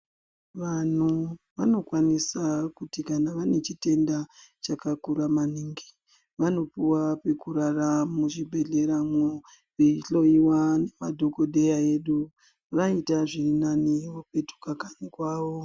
Vanhu vanokwanisa kuti kana vane chitenda chakakura maningi vanopuwa pokurara muchibhedhlera mwoo veihloyiwa ngemadhokodheya edu vaita zviri nani vopetuka kanyi kwavo.